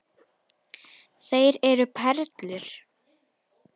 Þeir eru perlur.